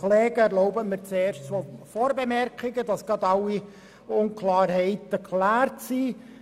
Erlauben Sie mir zuerst zwei Vorbemerkungen, damit gleich alle Unklarheiten geklärt sind.